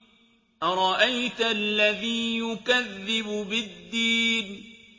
أَرَأَيْتَ الَّذِي يُكَذِّبُ بِالدِّينِ